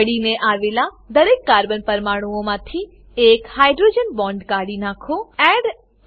અડીને આવેલા દરેક કાર્બન પરમાણુઓમાંથી એક હાઇડ્રોજન બોન્ડ હાઇડ્રોજન બોન્ડ કાઢી નાખો